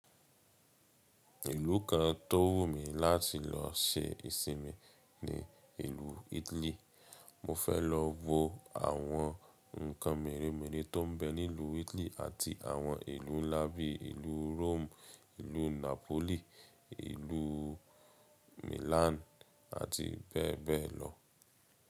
Ìlú kan tó wù mí láti lọ ṣe ìsinmi ni ìlú Italy. Mo fẹ́ lọ wo àwọn ǹkan mèremère tò ń bẹ ni ilú Italy àti àwọn ìlú ńlá bíi ìlú Rome, ìlú Napoli, ìlú Milan àti bẹ́ẹ̀ bẹ́ẹ̀ lọ.